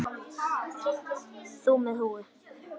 Þú með húfu.